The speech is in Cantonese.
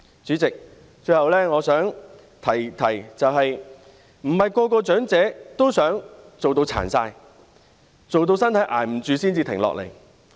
主席，最後我想提出的是，不是每個長者也想工作至身體勞損、支撐不了才停下來。